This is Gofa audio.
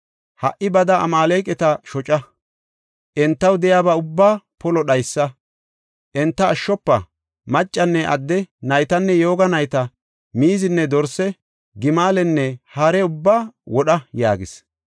Ha77i bada Amaaleqata shoca; entaw de7iyaba ubbaa polo dhaysa. Enta ashshofa; Maccanne adde, naytanne yooga nayta, miizinne dorse, gimalenne hare ubbaa wodha’ ” yaagis.